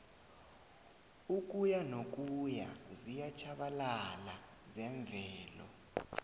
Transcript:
ukuyanokuya ziyatjhabalala zemvelo